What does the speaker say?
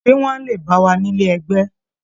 Ṣé wọ́n á lè bá wa nílé ẹgbẹ́?